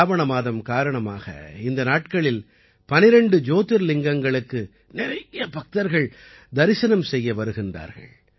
சிராவண மாதம் காரணமாக இந்த நாட்களில் 12 ஜோதிர்லிங்கங்களுக்கு நிறைய பக்தர்கள் தரிசனம் செய்ய வருகின்றார்கள்